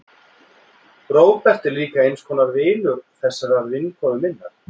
Róbert er líka eins konar vinur þessarar vinkonu minnar.